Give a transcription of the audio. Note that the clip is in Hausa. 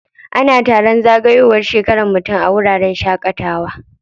Ana taron zagayowar shekaran mutum a wuraren shaƙatawa.